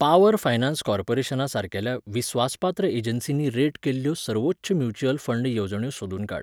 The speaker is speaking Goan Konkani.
पावर फायनान्स कॉर्पोरेशना सारकेल्या विस्वासपात्र एजन्सींनी रेट केल्ल्यो सर्वोच्च म्युच्युअल फंड येवजण्यो सोदून काड.